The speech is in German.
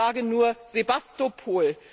Ich sage nur Sewastopol.